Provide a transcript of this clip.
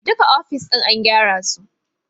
Duka ofisoshin an gyara su